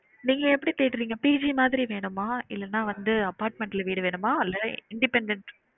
நீங்க எப்டி தேடுறிங்க PG மாதிரி வேணுமா? இல்லனா வந்து apartment ல வீடு வேணுமா இல்ல independent